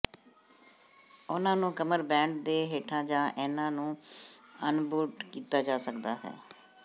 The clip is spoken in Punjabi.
ਉਹਨਾਂ ਨੂੰ ਕਮਰਬੈਂਡ ਦੇ ਹੇਠਾਂ ਜਾਂ ਇਹਨਾਂ ਨੂੰ ਅਣਬੂਟ ਕੀਤਾ ਜਾ ਸਕਦਾ ਹੈ